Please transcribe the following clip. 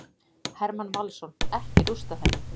Hermann Valsson: Ekki rústað henni.